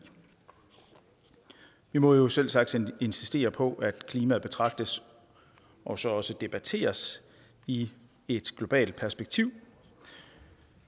vi må jo selvsagt insistere på at klimaet betragtes og så også debatteres i et globalt perspektiv